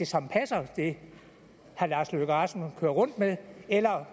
som passer det herre lars løkke rasmussen kører rundt med eller